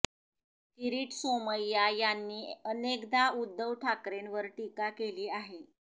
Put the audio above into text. किरीट सोमय्या यांनी अनेकदा उद्धव ठाकरेंवर टीका केली आहे